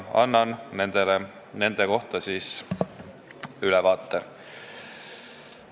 Ma annan nendest ülevaate.